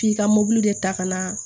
K'i ka mobili ta ka na